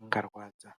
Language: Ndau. angarwadza.